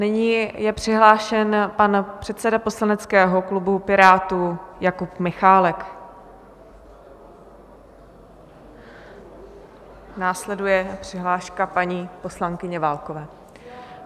Nyní je přihlášen pan předseda poslaneckého klubu Pirátů Jakub Michálek, následuje přihláška paní poslankyně Válkové.